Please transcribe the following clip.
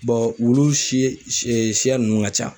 wlu si siya ninnu ka ca.